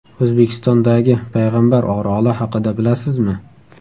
O‘zbekistondagi Payg‘ambar oroli haqida bilasizmi?.